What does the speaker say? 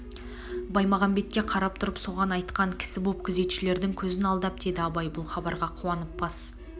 баймағамбетке қарап тұрып соған айтқан кісі боп күзетшілердің көзін алдап деді абай бұл хабарға қуанып бас